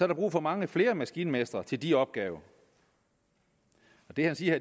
der brug for mange flere maskinmestre til de opgaver det han siger